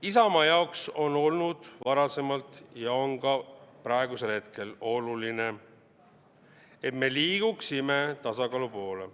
Isamaa jaoks on olnud varasemalt ja on ka praegusel hetkel oluline, et me liiguksime tasakaalu poole.